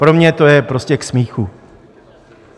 Pro mě to je prostě k smíchu.